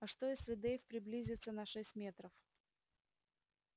а что если дейв приблизится на шесть метров